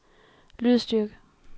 lydstyrke